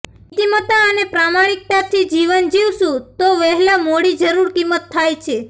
નીત્તિમત્તા અને પ્રમાણિકતાથી જીવન જીવશું તો વહેલા મોડી જરૂર કિંમત થાય છે